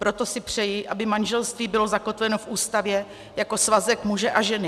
Proto si přeji, aby manželství bylo zakotveno v Ústavě jako svazek muže a ženy.